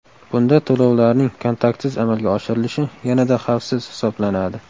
Bunda to‘lovlarning kontaktsiz amalga oshirilishi yanada xavfsiz hisoblanadi.